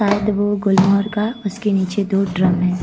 शायद वो गुलमोहर का उसके नीचे दो ड्रम हैं।